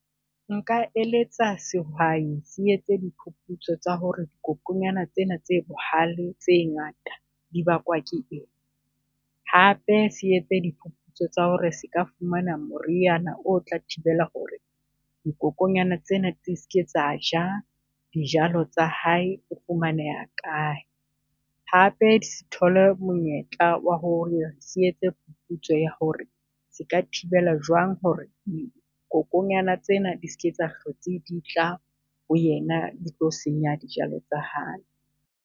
Nka eletsa sehwai se etse diphuphutso tsa hore kokonyana tsena tse bohale tse ngata di bakwa ke eng? Hape se etse diphuphutso tsa hore se ka fumana moriana o tla thibela hore dikokonyana tsena tse ske tsa ja dijalo tsa hae o fumaneha kae. Hape di s'thole monyetla wa hore se etse phuphutso ya hore se ka thibela jwang hore kokonyana tsena di ske di a hlotse di tla ho yena, di tlo senya dijalo tsa hae.